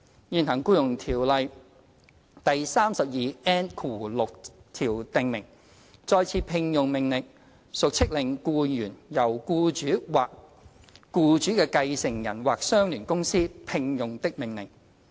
現行《僱傭條例》第 32N6 條訂明，"再次聘用的命令屬飭令僱員由僱主或該僱主的繼承人或相聯公司"聘用的命令。